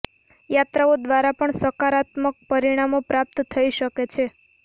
યાત્રાઓ દ્વારા પણ સકારાત્મક પરિણામ પ્રાપ્ત થઈ શકે છે